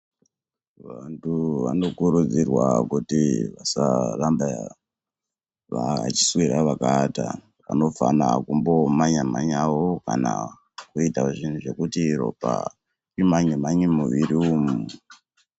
Vantu vanokurudzirwa kuti vasaramba vachiswera vakaata. Vanofana kumbomhanya mhanyawo kana kuita zvinhu zvekuti ropa rimhanye mhanye mumuviri umu.